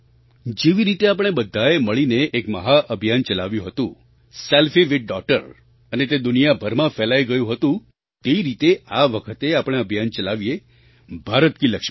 જેવી રીતે આપણે બધાએ મળીને એક મહાઅભિયાન ચલાવ્યું હતું સેલ્ફી વિથ ડૉટર અને તે દુનિયાભરમાં ફેલાઈ ગયું હતું તે રીતે આ વખતે આપણે અભિયાન ચલાવીએ ભારત કી લક્ષ્મી